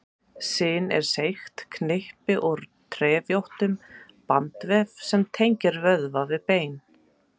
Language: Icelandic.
Sin er seigt knippi úr trefjóttum bandvef sem tengir vöðva við bein.